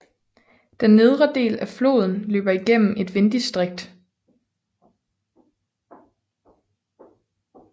Den nedre del af floden løber gennem et vindistrikt